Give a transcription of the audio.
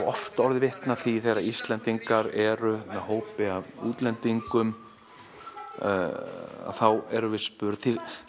oft orðið vitni að því þegar Íslendingar eru með hópi af útlendingum og þá er spurt